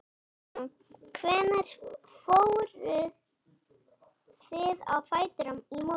Guðrún: Hvenær fóruð þið á fætur í morgun?